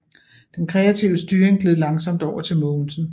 Den kreative styring gled langsomt over til Mogensen